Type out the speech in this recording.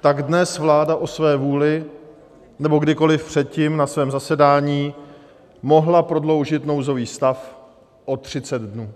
tak dnes vláda o své vůli nebo kdykoli předtím na svém zasedání mohla prodloužit nouzový stav o 30 dnů.